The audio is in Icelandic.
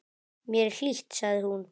Hér er hlýtt, sagði hún.